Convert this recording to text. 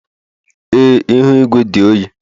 Ee, ihu igwe dị oyi